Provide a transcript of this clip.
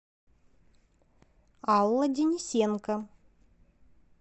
алла денисенко